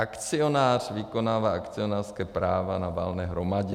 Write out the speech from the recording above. Akcionář vykonává akcionářská práva na valné hromadě.